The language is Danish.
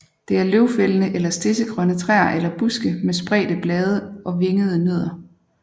Det er løvfældende eller stedsegrønne træer eller buske med spredte blade og vingede nødder